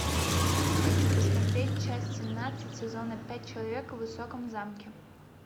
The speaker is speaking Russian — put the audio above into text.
хочу посмотреть часть семнадцать сезона пять человек в высоком замке